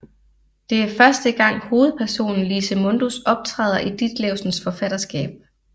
Det er første gang hovedpersonen Lise Mundus optræder i Ditlevsens forfatterskab